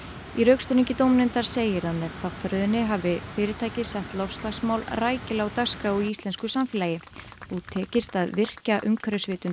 í rökstuðningi dómnefndar segir að með þáttaröðinni hafi fyrirtækið sett loftslagsmál rækilega á dagskrá í íslensku samfélagi og tekist að virkja umhverfisvitund